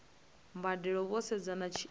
mbadelo vho sedza na tshiimo